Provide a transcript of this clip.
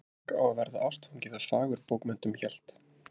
Fólk á að verða ástfangið af fagurbókmenntum hélt